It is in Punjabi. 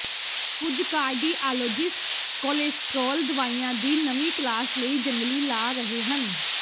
ਕੁਝ ਕਾਰਡੀਆਲੋਜਿਸਟ ਕੋਲੇਸਟ੍ਰੋਲ ਦਵਾਈਆਂ ਦੀ ਨਵੀਂ ਕਲਾਸ ਲਈ ਜੰਗਲੀ ਜਾ ਰਹੇ ਹਨ